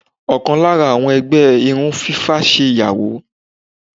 Òkàn lára àwọn ẹgbẹ́ irun fífá ṣe ìyàwó.